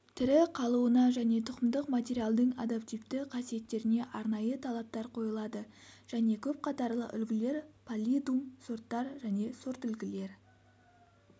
тірі қалуына және тұқымдық материалдың адаптивті қасиеттеріне арнайы талаптар қойылады және көп қатарлы үлгілер паллидум сорттар мен сортүлгілер